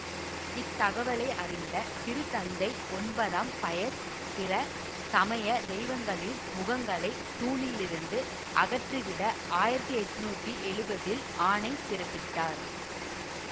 இத்தகவலை அறிந்த திருத்தந்தை ஒன்பதாம் பயஸ் பிற சமய தெய்வங்களின் முகங்களைத் தூணிலிருந்து அகற்றிவிட ஆயிரத்தி எட்ணூத்தி எழுவதில் ஆணை பிறப்பித்தார்